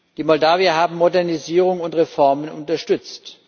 Die Moldawier haben Modernisierung und Reformen unterstützt.